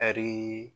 Ɛri